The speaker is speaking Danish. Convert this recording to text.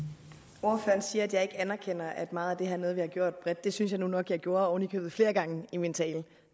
herre siger at jeg ikke anerkender at meget af det her er noget vi har gjort bredt det synes jeg nu nok jeg gjorde oven i købet flere gange i min tale